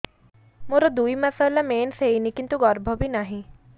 ମୋର ଦୁଇ ମାସ ହେଲା ମେନ୍ସ ହେଇନି କିନ୍ତୁ ଗର୍ଭ ବି ନାହିଁ